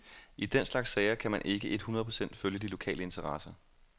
I den slags sager kan man ikke et hundrede procent følge de lokale interesser.